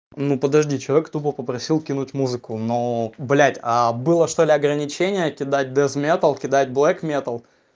ну подожди человек тупо попросил кинуть музыку но блядь а было что-ли ограничения кидать дез-металл кидать блэк-металл